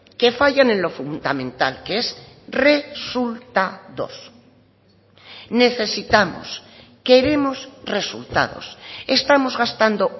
que fallan en lo fundamental que es resultados necesitamos queremos resultados estamos gastando